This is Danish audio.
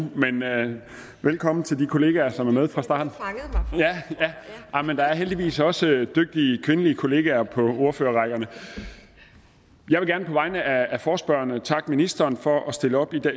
men velkommen til de kollegaer som er med fra starten men der er heldigvis også dygtige kvindelige kollegaer på ordførerrækkerne jeg vil gerne på vegne af forespørgerne takke ministeren for at stille op i